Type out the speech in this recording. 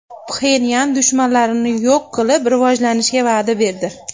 Pxenyan dushmanlarini yo‘q qilib, rivojlanishga va’da berdi.